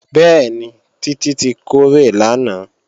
Bẹ́ẹ̀ni, Títí tí kórè lánàá